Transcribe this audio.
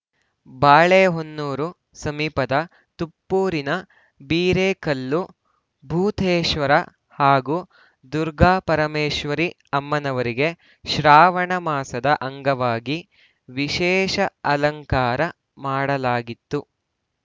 ಬಾಳೆಹೊನ್ನೂರು ಸಮೀಪದ ತುಪ್ಪೂರಿನ ಬಿರೇಕಲ್ಲು ಭೂತೇಶ್ವರ ಹಾಗೂ ದುರ್ಗಾಪರಮೇಶ್ವರಿ ಅಮ್ಮನವರಿಗೆ ಶ್ರಾವಣ ಮಾಸದ ಅಂಗವಾಗಿ ವಿಶೇಷ ಅಲಂಕಾರ ಮಾಡಲಾಗಿತ್ತು